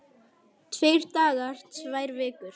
Tveir dagar, tvær vikur?